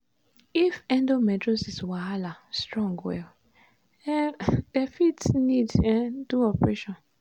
if endometriosis wahala strong well um dem fit need um do operation.